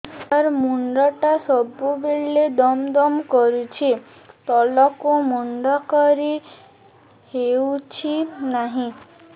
ସାର ମୁଣ୍ଡ ଟା ସବୁ ବେଳେ ଦମ ଦମ କରୁଛି ତଳକୁ ମୁଣ୍ଡ କରି ହେଉଛି ନାହିଁ